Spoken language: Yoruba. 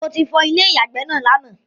Mo ti fọ Ilé ìyàgbẹ́ náà lánàá